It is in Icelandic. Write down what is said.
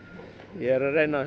ég er að reyna